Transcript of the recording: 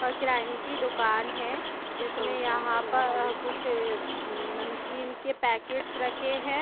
ओर किरायनी की दुकान है जिसमें यहां पर कुछ नमकीन के पैकेट्स रखे हैं।